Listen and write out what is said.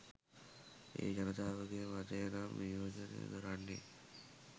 ඒ ජනතාවගේ මතය නම් නි‍යෝජනය කරන්නේ